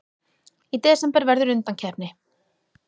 Í desember verður undankeppni.